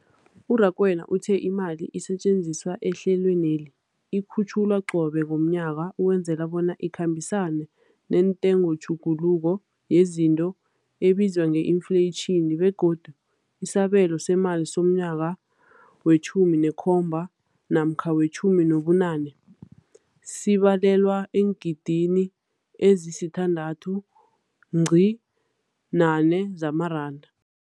U-Rakwena uthe imali esetjenziswa ehlelweneli ikhutjhulwa qobe ngomnyaka ukwenzela bona ikhambisane nentengotjhuguluko yezinto ebizwa nge-infleyitjhini, begodu isabelo seemali somnyaka we-2017 namkha we-2018 sibalelwa eengidigidini ezisi-6.4 zamaranda.